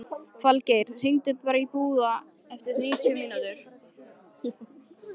Falgeir, hringdu í Búa eftir níutíu mínútur.